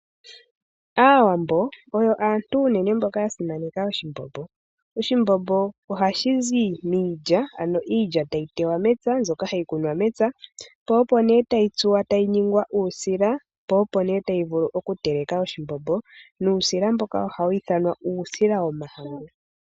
Aawambo oyo aantu uunene mboka ya simaneka oshimbombo. Oshimbombo ohashi zi miilya, ano iilya tayi tewa mepya mbyoka hayi kunwa mepya. Tayi tsuwa tayi ningwa uushila, ne tayi vulu oku teleka oshimbombo, nuusila mboka ohawu ithanwa uusila womahangu.